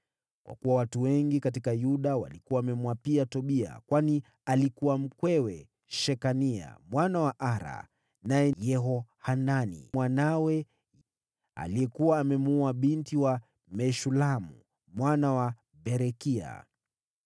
Kwa kuwa watu wengi katika Yuda walikuwa wamemwapia Tobia, kwani alikuwa mkwewe Shekania mwana wa Ara, na Yehohanani mwanawe alikuwa amemwoa binti wa Meshulamu mwana wa Berekia.